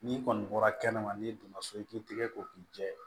N'i kɔni bɔra kɛnɛma n'i donna so i k'i tigɛ ko k'i jɛ